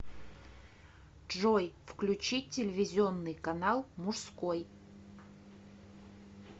джой включить телевизионный канал мужской